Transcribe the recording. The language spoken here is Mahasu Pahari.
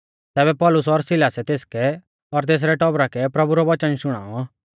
तैबै पौलुस और सिलासै तेसकै और तेसरै टौबरा कै प्रभु रौ वचन शुणाऔ